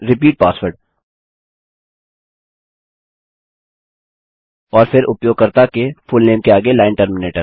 फिर repeat password और फिर उपयोगकर्ता के फुलनेम के आगे लाइन टर्मिनेटर